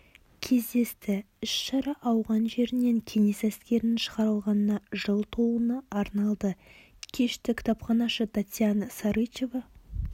кездесті іс шара ауған жерінен кеңес әскерінің шығарылғанына жыл толуына арналды кешті кітапханашы татьяна сарычева